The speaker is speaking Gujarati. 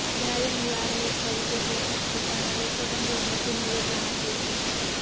બ્રાયન લારાએ ફરી એક વખત પોતાના રેકોર્ડ અંગે મોટું નિવેદન આપ્યું છે